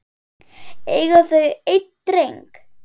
Eiga þau einn dreng.